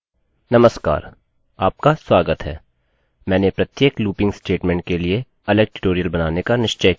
नमस्कार आपका स्वागत है मैंने प्रत्येक लूपिंग looping स्टेटमेंटstatement के लिए अलग ट्यूटोरियल बनाने का निश्चय किया है